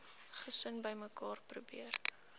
gesin bymekaar probeer